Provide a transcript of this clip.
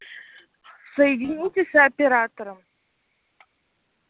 соедините с оператором